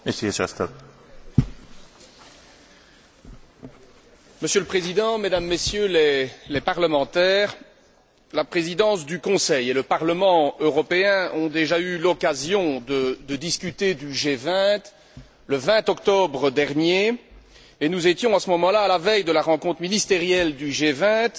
Monsieur le Président, Mesdames et Messieurs les députés, la présidence du Conseil et le Parlement européen ont déjà eu l'occasion de discuter du G20, le 20 octobre dernier, et nous étions à ce moment là à la veille de la rencontre ministérielle du G20 et dans l'attente de ce qui allait se dérouler à Séoul.